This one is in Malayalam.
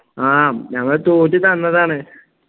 ആ ഞങ്ങള് തോറ്റു തന്നതാണ്